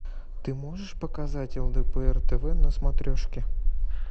ты можешь показать лдпр тв на смотрешке